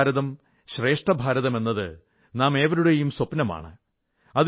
ഏകഭാരതം ശ്രേഷ്ഠ ഭാരതം എന്നത് നാമേവരുടെയും സ്വപ്നമാണ്